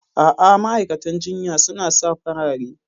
A'a, ma'aikatan jinya suna sa farare.